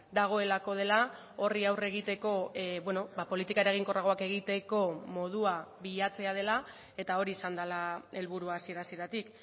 dagoelako dela horri aurre egiteko politika eraginkorragoak egiteko modua bilatzea dela eta hori izan dela helburua hasiera hasieratik